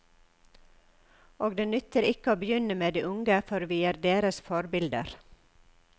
Og det nytter ikke å begynne med de unge, for vi er deres forbilder.